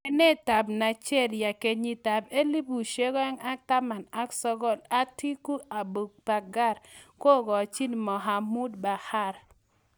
Lewenetab Nigeria 2019:Atiku Abubakar kokachi Muhammedu Bahar